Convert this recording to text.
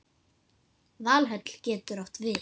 Valhöll getur átt við